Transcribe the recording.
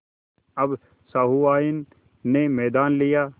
अब सहुआइन ने मैदान लिया